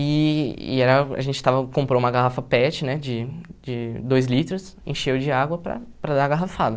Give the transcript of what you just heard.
E e era a gente estava comprou uma garrafa PET de de dois litros, encheu de água para para dar a garrafada.